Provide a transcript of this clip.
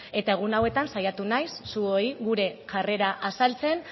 egun hauetan saiatu naiz zuoi gure jarrera azaltzen